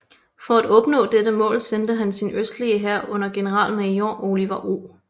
For at opnå dette mål sendte han sin østligste hær under generalmajor Oliver O